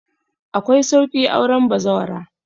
Akwai sauƙi auren bazawara